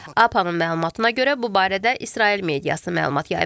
AP-nın məlumatına görə bu barədə İsrail mediası məlumat yayıb.